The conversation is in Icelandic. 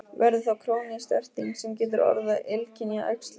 Verður þá krónísk erting sem getur orðið að illkynja æxli.